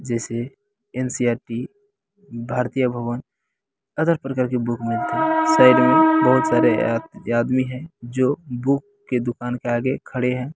जैसे NCERT. Bharati Bhawan other प्रकार के बूक मिलतें हैं। साइड में बहुत सारे आदमी हैं जो बुक के दुकान के आगे खड़े हैं।